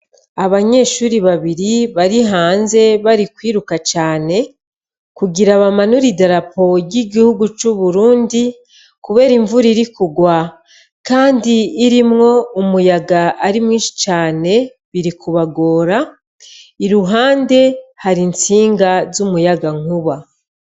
Abanyeshuri babiri bari hanze bari kwiruka cane, kugira bamanure idarapo ry'igihugu c'Uburundi kubera imvura irikurwa kandi irimwo umuyaga ari mwishi cane birikubagora, iruhande hari intsinga z'umuyaga nkuba.